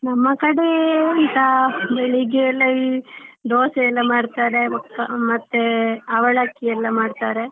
ನಮ್ಮ ಕಡೆ ಎಂತ ಬೆಳ್ಳಿಗ್ಗೆಯೆಲ್ಲ ಈ ದೋಸೆಯೆಲ್ಲಾ ಮಾಡ್ತಾರೆ ಮತ್ತೆ ಅವಲಕ್ಕಿಯೆಲ್ಲ ಮಾಡ್ತಾರೆ.